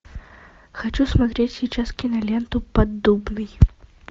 хочу смотреть сейчас киноленту поддубный